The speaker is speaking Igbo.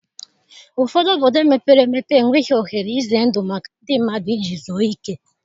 Ụfọdụ obodo mepere emepe enweghị ohere ize ndụ maka ndị mmadụ iji zuọ ike.